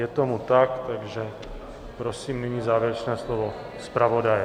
Je tomu tak, takže prosím nyní závěrečné slovo zpravodaje.